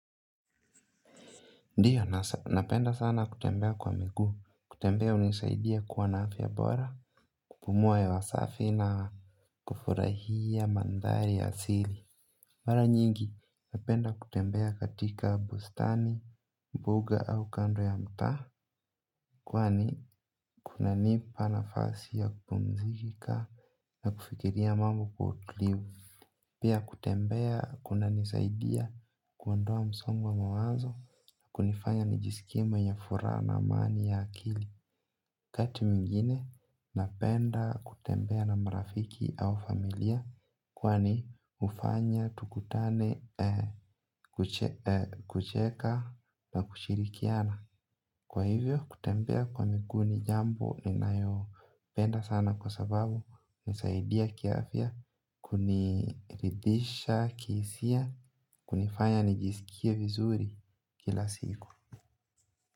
Ndiyo, napenda sana kutembea kwa miguu, kutembea hunisaidia kuwa na afya bora, kupumua hewa safi na kufurahia mandhari ya asili. Mara nyingi, napenda kutembea katika bustani, mbuga au kando ya mtaa. Kwani, kunanipa nafasi ya kupumzika na kufikiria mambo kwa utulivu pia kutembea kunanisaidia kuondoa msongo wa mawazo kunifanya nijiskie mwenye furaha na amani ya akili wakati mwingine napenda kutembea na marafiki au familia. Kwani hufanya tukutane kucheka na kushirikiana. Kwa hivyo kutembea kwa miguu ni jambo ninayopenda sana kwa sababu husaidia kiafya kuniridhisha kihisia kunifanya nijisikie vizuri kila siku.